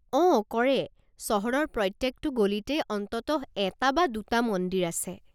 অঁ, কৰে। চহৰৰ প্ৰত্যেকটো গলিতেই অন্ততঃ এটা বা দুটা মন্দিৰ আছে।